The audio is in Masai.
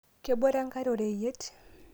kebore enkwre oreyiet